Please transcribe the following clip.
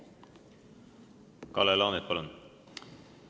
Kalle Laanet, palun!